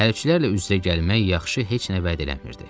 Hərbçilərlə üz-üzə gəlmək yaxşı heç nə vəd eləmirdi.